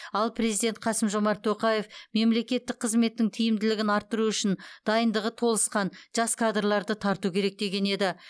ал президент қасым жомарт тоқаев мемлекеттік қызметтің тиімділігін арттыру үшін дайындығы толысқан жас кадрларды тарту керек деген еді